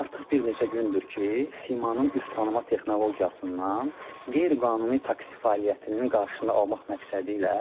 Artıq bir neçə gündür ki, simanın üz tanıma texnologiyasından qeyri-qanuni taksi fəaliyyətinin qarşısını almaq məqsədi ilə